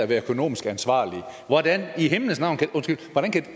være økonomisk ansvarlig hvordan i himlens navn undskyld kan